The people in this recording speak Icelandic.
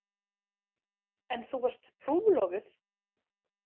En þú varst trúlofuð?